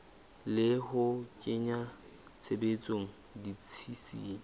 le ho kenya tshebetsong ditshisinyo